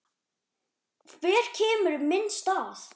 Hver kemur í minn stað?